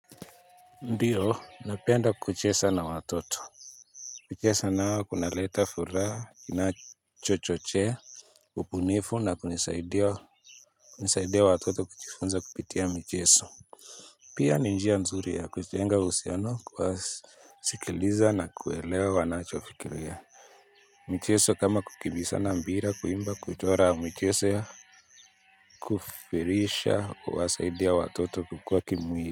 Ndiyo napenda kuchesa na watoto kuchesa nao kunaleta furaha na chochochea kupunifu na kunisaidia kunisaidia watoto kuchifunza kupitia mcheso pia ninjia nzuri ya kuchenga usiano kuwasikiliza na kuwelewa wanachofikilia mcheso kama kukibisana ambira kuimba kujora mcheso ya kufirisha kwasaidia watoto kukua kimwili.